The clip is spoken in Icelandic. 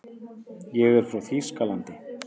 Ég er frá Þýskalandi.